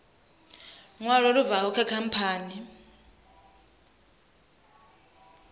ṅwalo lu bvaho kha khamphani